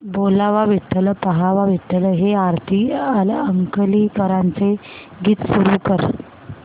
बोलावा विठ्ठल पहावा विठ्ठल हे आरती अंकलीकरांचे गीत सुरू कर